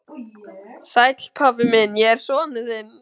Sæll, pabbi minn, ég er sonur þinn.